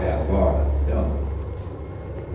agora. É ou não?